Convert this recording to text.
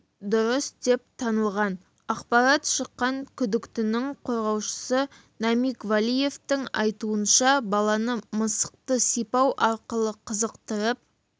дұрыс деп танылған ақпарат шыққан күдіктінің қорғаушысы намиг валиевтің айтуынша баланы мысықты сипату арқылы қызықтырып